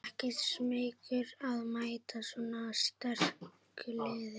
Ekkert smeykur að mæta svona sterku liði?